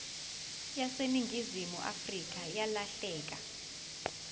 yaseningizimu afrika yalahleka